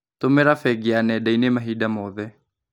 Tũmĩra bengi ya nenda-inĩ mahinda mothe.